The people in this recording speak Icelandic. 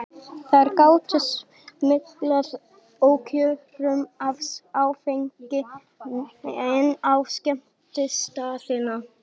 Þær gátu smyglað ókjörum af áfengi inn á skemmtistaðina.